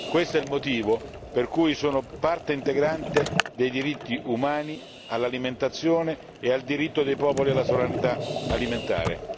questo è il motivo per cui sono parte integrante dei diritti umani all'alimentazione e al diritto dei popoli alla sovranità alimentare!